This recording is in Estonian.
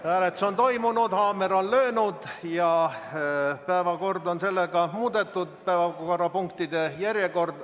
Hääletus on toimunud, haamer on löönud ja päevakorrapunktide järjekord on muudetud.